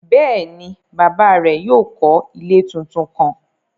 Bẹ́ẹ̀ni, baba rẹ̀ yóò kọ́ ilẹ̀ tuntun kán.